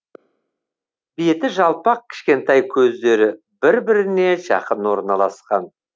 беті жалпақ кішкентай көздері бір біріне жақын орналасқан